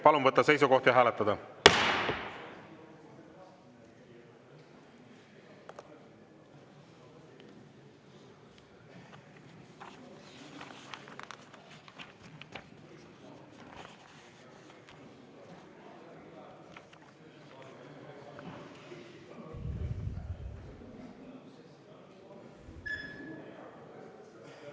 Palun võtta seisukoht ja hääletada!